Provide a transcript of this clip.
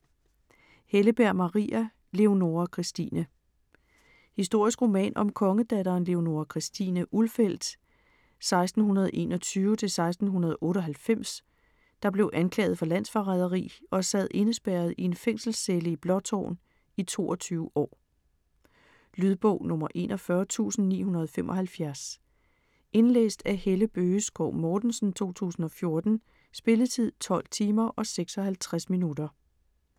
Helleberg, Maria: Leonora Christine Historisk roman om kongedatteren Leonora Christina Ulfeldt (1621-1698), der blev anklaget for landsforræderi og sad indespærret i en fængselscelle i Blåtårn i 22 år. Lydbog 41975 Indlæst af Helle Bøgeskov Mortensen, 2014. Spilletid: 12 timer, 56 minutter.